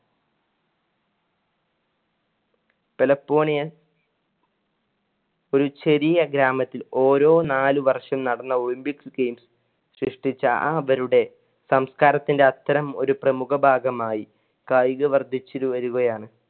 ഒരു ചെറിയ ഗ്രാമത്തിൽ ഓരോ നാല് വര്ഷം നടന്ന olympic games സൃഷിട്ടിച്ചന്‍ടെ അവരുടെ സംസ്കാരത്തിന്‍ടെ അത്തരം ഒരു പ്രമുഖ ഭാഗമാണ് കായിക വർധിച്ചു വരുകയാണ്.